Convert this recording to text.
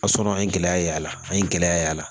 A sɔrɔ an ye gɛlɛya y'a la an ye gɛlɛya ye a la